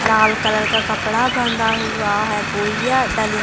लाल colour का कपडा बंधा हुआ हैपोइया डली --